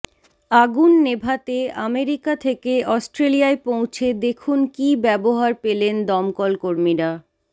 আগুন নেভাতে আমেরিকা থেকে অস্ট্রেলিয়ায় পৌঁছে দেখুন কী ব্যবহার পেলেন দমকলকর্মীরা